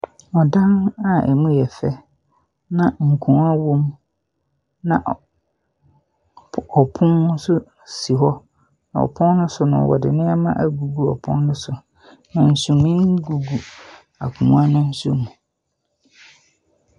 Adan a emu yɛ fɛ na nkonwa wɔ mu na ɔpono nso si hɔ na ɔpono no so no ɔde nnoɔma agugu ɔpono no so na sunyɛ nsoso gu akonwa no mu.